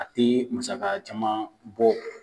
A tɛ musaka caman bɔ